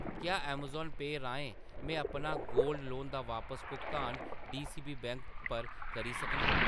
क्या अमेज़ॉन पेऽ राहें में अपना गोल्ड लोन दा बापस भुगतान डीसीबी बैंक पर करी सकनां ?